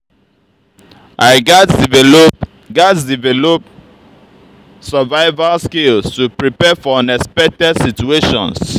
i gats develop gats develop survival skills to prepare for unexpected situations.